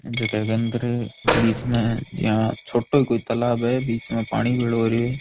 झक के अंदर बीच में छोटो ही कोई तलाब है बीच मै पानी भेलो हो रयो है।